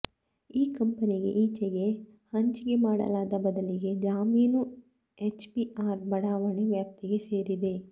ಈ ಕಂಪೆನಿಗೆ ಈಚೆಗೆ ಹಂಚಿಕೆ ಮಾಡಲಾದ ಬದಲಿ ಜಮೀನು ಎಚ್ಬಿಆರ್ ಬಡಾವಣೆ ವ್ಯಾಪ್ತಿಗೆ ಸೇರಿದೆ